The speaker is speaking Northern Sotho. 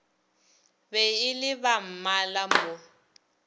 be e le bammala mo